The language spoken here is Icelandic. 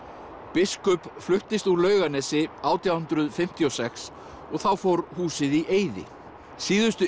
biskup fluttist úr Laugarnesi átján hundruð fimmtíu og sex og þá fór húsið í eyði síðustu